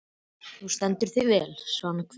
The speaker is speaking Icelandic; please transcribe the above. Þú stendur þig vel, Svanhvít!